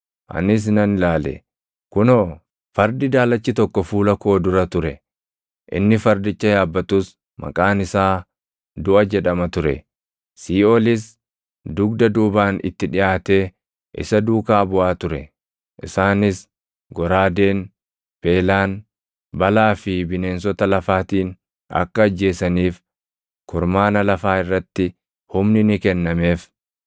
Anis nan ilaale; kunoo, fardi daalachi tokko fuula koo dura ture! Inni fardicha yaabbatus maqaan isaa Duʼa jedhama ture; Siiʼoolis dugda duubaan itti dhiʼaatee isa duukaa buʼaa ture. Isaanis goraadeen, beelaan, balaa fi bineensota lafaatiin akka ajjeesaniif kurmaana lafaa irratti humni ni kennameef.